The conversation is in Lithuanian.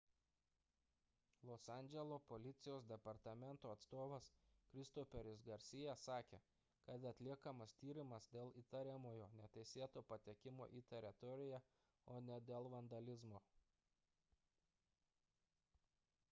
los andželo policijos departamento atstovas christopheris garcia sakė kad atliekamas tyrimas dėl įtariamojo neteisėto patekimo į teritoriją o ne dėl vandalizmo